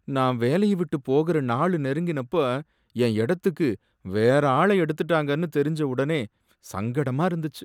நான் வேலையை விட்டு போகுர நாளு நெருங்கினப்ப என் இடத்துக்கு வேற ஆளை எடுத்துட்டாங்கன்னு தெரிஞ்ச உடனே சங்கடமா இருந்துச்சு.